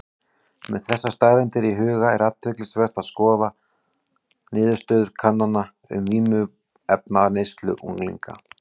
Með þessar staðreyndir í huga er athyglisvert að skoða niðurstöður kannana um vímuefnaneyslu unglinga.